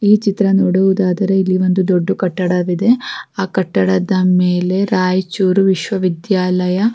ಈ ಚಿತ್ರ ನೋಡುವುದಾದರೆ ಇಲ್ಲಿ ಒಂದು ದೊಡ್ಡ್ ಕಟ್ಟಡ ಇದೆ ಆಹ್ಹ್ ಕಟ್ಟಡದ ಮೇಲೆ ರಾಯ್ ಚೂರ್ ವಿಶ್ವ ವಿದ್ಯಾಲಯ--